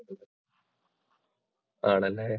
ആണല്ലേ.